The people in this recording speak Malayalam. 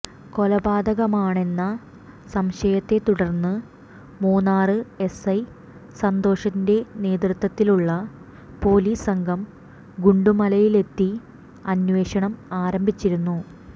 കൊലപാതകമാണെന്ന സംശയത്തെ തുടര്ന്ന് മൂന്നാര് എസ്ഐ സന്തോഷിന്റെ നേതൃത്വത്തിലുള്ള പോലീസ് സംഘം ഗുണ്ടുമലയിലെത്തി അന്വേഷണം ആരംഭിച്ചിരുന്നു